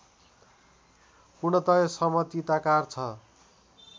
पूर्णतया समतिताकार छ